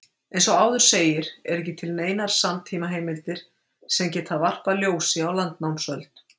Eins og áður segir eru ekki til neinar samtímaheimildir sem geta varpað ljósi á landnámsöld.